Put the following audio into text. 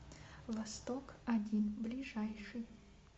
восток один ближайший